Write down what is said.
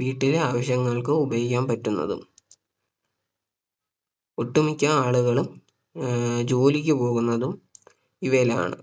വീട്ടിലെ ആവശ്യങ്ങൾക്ക് ഉപയോഗിക്കാൻ പറ്റുന്നതും ഒട്ടുമിക്ക ആളുകളും ഏർ ജോലിക്ക് പോവുന്നതും ഇവയിലാണ്